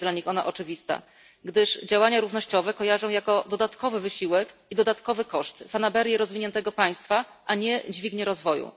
Nie jest dla nich ona oczywista, gdyż działania równościowe kojarzą jako dodatkowy wysiłek i dodatkowy koszt, fanaberie rozwiniętego państwa, a nie dźwignię rozwoju.